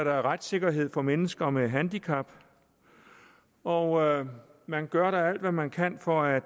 er retssikkerhed for mennesker med handicap og man gør da alt hvad man kan for at